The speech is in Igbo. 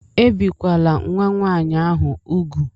Ebìkwala nwa nwaanyị ahụ úgwù!